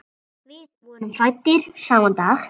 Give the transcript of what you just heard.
Við vorum fæddir sama dag.